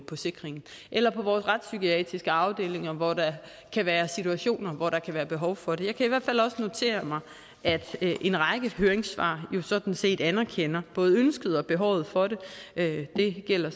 på sikringen eller på vores retspsykiatriske afdelinger hvor der kan være situationer hvor der kan være behov for det jeg kan hvert fald også notere mig at en række høringssvar sådan set anerkender både ønsket og behovet for det det gælder